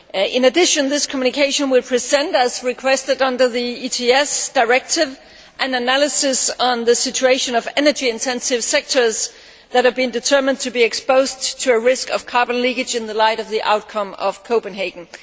In addition, this communication will present, as requested under the ETS Directive, an analysis of the situation of energy intensive sectors that it has been determined are exposed to a risk of carbon leakage in the light of the outcome of Copenhagen.